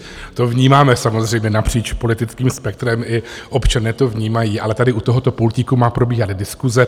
To vnímáme samozřejmě napříč politickým spektrem, i občané to vnímají, ale tady u tohoto pultíku má probíhat diskuse.